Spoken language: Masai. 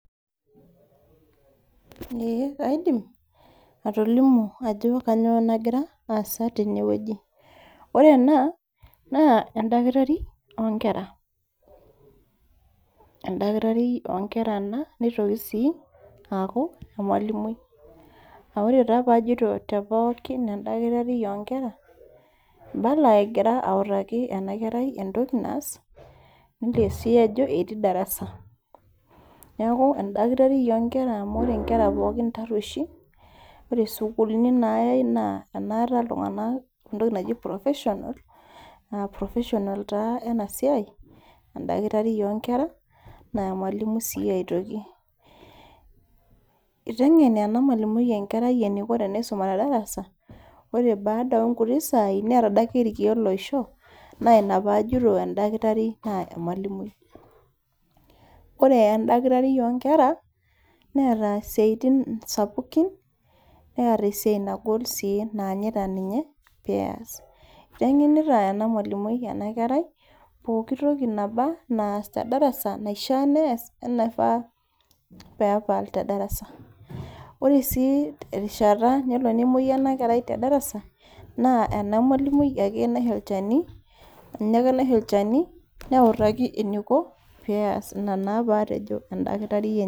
Ee kaidim, atolimu ajo kanyioo nagira aasa tenewueji. Ore ena, naa edakitari onkera. Edakitari onkera ena, nitoki si aku emalimui. Ah ore taa pajito te pookin edakitari onkera, ibala egira autaki enakerai entoki naas, nelio si ajo etii darasa. Neeku edakitari onkera amu ore nkera pookin tarrueshi, ore sukuulini nayai naa enaata iltung'anak entoki naji professional, professional taa enasiai, edakitari onkera, naa emalimui si aitoki. Iteng'en ena malimui enkerai eniko teneisuma tedarasa, ore baada onkuti saai, neeta adake irkeek loisho, na ina pajito edakitari naa emalimui. Ore edakitari onkera, neeta isiaitin sapukin, neeta esiai nagol si naanyita ninye peas. Iteng'enita ena malimui enakerai, pooki toki naba, naas tedarasi naishaa nees onaifaa pepal tedarasa. Ore si erishata nelo nemoyu enakerai tedarasa, naa ena malimui ake naisho olchani, ninye ake naisho olchani, neutaki eniko peas ina naa patejo edakitari.